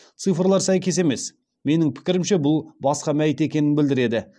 цифрлар сәйкес емес менің пікірімше бұл басқа мәйіт екенін білдіреді